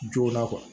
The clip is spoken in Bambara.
Joona